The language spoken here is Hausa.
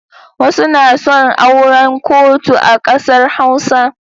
Wasu na son auran kotu a ƙasar Hausa.